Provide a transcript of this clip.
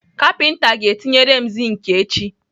Kapinta ga-etinyere m zink echi.